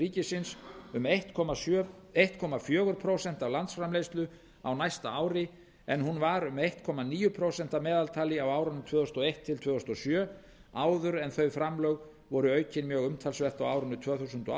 ríkisins um einn komma fjögur prósent af landsframleiðslu á næsta ári en hún var um einn komma níu prósent að meðaltali á árunum tvö þúsund og eitt til tvö þúsund og sjö áður en þau framlög voru aukin mjög umtalsvert á árinu tvö þúsund og